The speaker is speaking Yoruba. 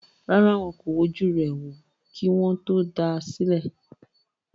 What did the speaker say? Rárá, wọn kò wojú rẹ̀ wò, kí wọ́n tó dá a sílẹ̀